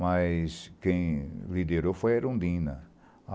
Mas quem liderou foi a Erundina.